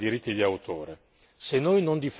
La terza riguarda i diritti d'autore.